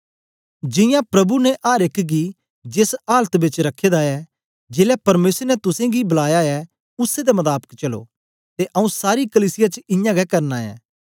जियां प्रभु ने अर एक गी जेस आलत बेच रखे दा ऐ जेलै परमेसर ने तुसेंगी बलाया ऐ उसै दे मताबक चलो ते आऊँ सारी कलीसिया च इयां गै करना ऐं